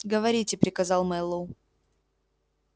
говорите приказал мэллоу